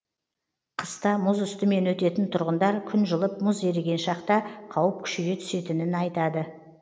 қыста мұз үстімен өтетін тұрғындар күн жылып мұз еріген шақта қауіп күшейе түсетінін айтады